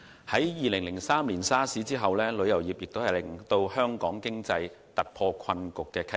在2003年 SARS 後，旅遊業亦是令香港經濟突破困局的契機。